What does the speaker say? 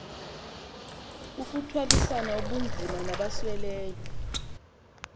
kukuthwalisana ubunzima nabasweleyo